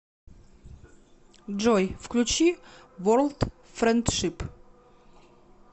джой включи ворлд френдшип